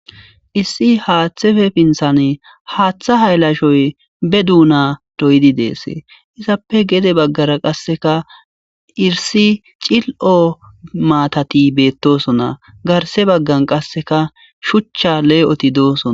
issi haaththepfe pinthane haaththa haylashoy be duuna doyidi dees izappe gede baggara qasseka irsi cil'o maatati beettosona garse baggan qasseka shuchcha lee'oti doosona